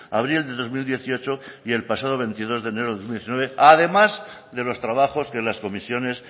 abril de dos mil dieciocho y el pasado veintidós de enero de dos mil diecinueve además de los trabajos que las comisiones